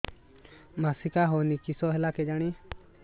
ମାସିକା ହଉନି କିଶ ହେଲା କେଜାଣି